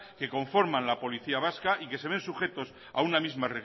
que conforman la policía vasca y que se ven sujetos a una misma